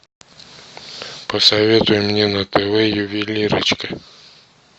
посоветуй мне на тв ювелирочка